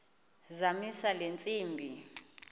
zamisa le ntsimbi